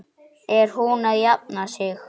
Er hún að jafna sig?